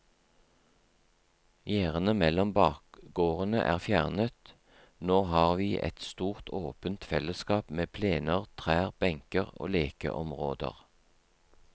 Gjerdene mellom bakgårdene er fjernet, nå har vi et stort åpent fellesskap med plener, trær, benker og lekeområder.